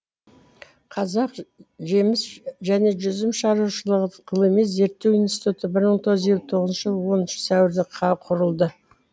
қазақ жеміс және жүзім шаруашылығы ғылыми зерттеу институты бір мың тоғыз жүз елі тғызыншы жылы оныншы сәуірде құрылды